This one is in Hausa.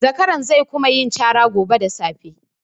Zakaran ze kuma yin cara gobe da safe.